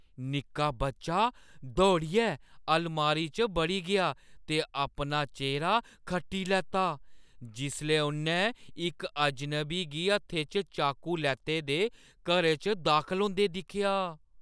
निक्का बच्चा दौड़ियै अलमारी च बड़ी गेआ ते अपना चेह्‌रा खट्टी लैता जिसलै उʼन्नै इक अजनबी गी हत्थै च चाकू लैते दे घरै च दाखल होंदे दिक्खेआ।